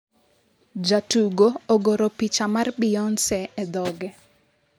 Jatugo ogoro picha mar Beyonce e dhoge